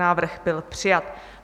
Návrh byl přijat.